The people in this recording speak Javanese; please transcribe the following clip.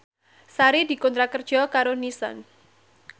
Sari dikontrak kerja karo Nissan